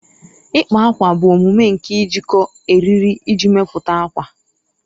ịkpa ákwà bụ omume nke njikọ eriri iji mepụta ákwà